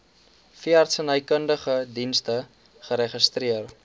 veeartsenykundige dienste geregistreer